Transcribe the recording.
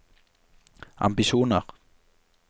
ambisjoner